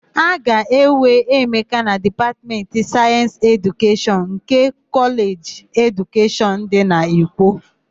A ga-ewe Emeka na Dipatmentị Sayensị Edukeshọn nke Kọleji Edukeshọn dị n'Ikwo.